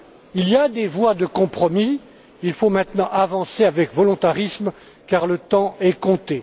Il y a des voies de compromis, il faut maintenant avancer avec volontarisme car le temps est compté.